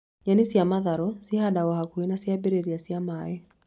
Nyeni cia matharũ cihandagwo hakuhĩ na ciambĩrĩria cia maĩ